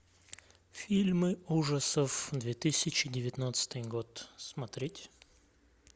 фильмы ужасов две тысячи девятнадцатый год смотреть